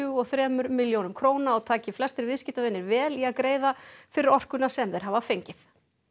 og þremur milljónum króna og taki flestir viðskiptavinir vel í að greiða fyrir orkuna sem þeir hafa fengið